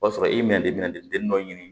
O b'a sɔrɔ i minɛ de bɛna den dɔ ɲini